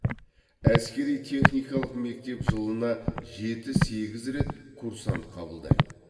әскери техникалық мектеп жылына жеті сегіз рет курсант қабылдайды